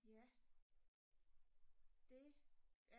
ja det